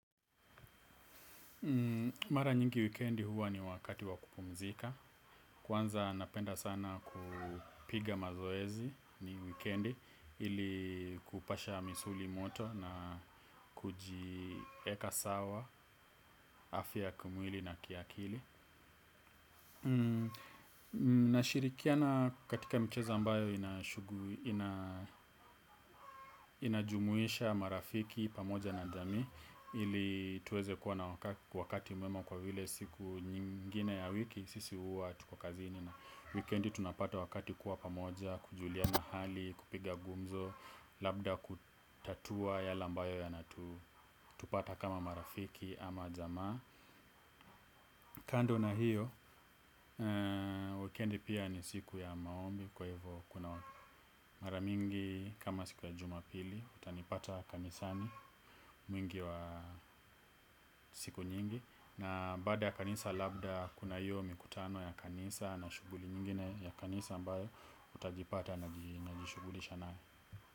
Mara nyingi wikendi huwa ni wakati wa kupumzika. Kwanza napenda sana kupiga mazoezi ni wikendi ili kupasha misuli moto na kujiweka sawa, afia ya kimwili na kiakili. Nashirikiana katika mchezo ambayo inajumuisha marafiki pamoja na jamii ili tuweze kuwa na wakati mwema kwa vile siku nyingine ya wiki sisi huwa tuko kazini na wikendi tunapata wakati wa kuwa pamoja. Kujuliana hali, kupiga gumzo, labda kutatua yale ambayo yanatupata kama marafiki ama jamii. Kando na hiyo, wikendi pia ni siku ya maombi kwa hivyo kuna mara nyingi kama siku ya jumapili utanipata kanisani mingi wa siku nyingi na baada ya kanisa labda kuna hiyo mikutano ya kanisa na shughuli zingine ya kanisa ambayo nitajipata nikjishugulisha nayo.